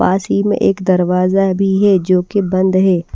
पास ही मै एक दरवाज़ा भी है जो की बंद है।